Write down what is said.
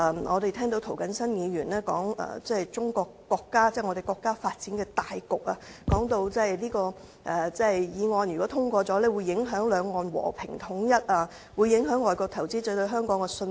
我們又聽到涂謹申議員提到我們國家的發展大局，說如果《條例草案》獲通過，會影響兩岸和平統一，影響外國投資者對香港的信心。